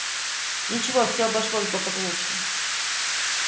ничего всё обошлось благополучно